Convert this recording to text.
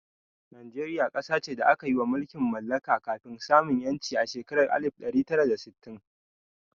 Najeriya ƙasa ce da aka yi ma mulkin mallaka kafin samun 'yanci a shekarar alif ɗari tara da sittin.